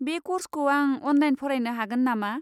बे कर्सखौ आं अनलाइन फरायनो हागोन नामा?